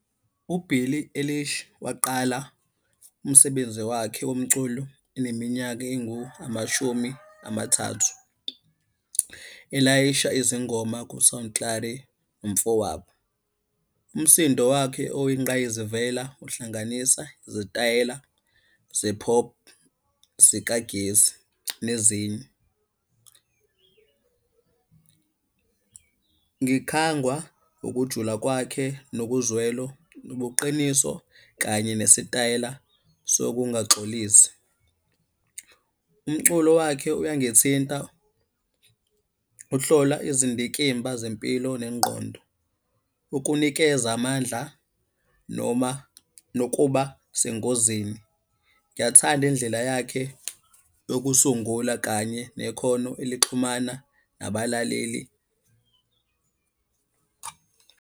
UBillie Eilish waqala umsebenzi wakhe womculo eneminyaka engu-amashumi amathathu. Elayisha izingoma umfowabo. Umsindo wakhe oyingqayizivela uhlanganisa izitayela ze-pop zikagesi nezinye. Ngikhangwa ukujula kwakhe nokuzwelo, nobuqiniso, kanye nesitayela sokungaxolisi. Umculo wakhe uyangithinta, uhlola izindikimba zempilo nengqondo. Ukunikeza amandla noma nokuba sengozini. Ngiyayithanda indlela yakhe yokusungula kanye nekhono elixhumana nabalaleli.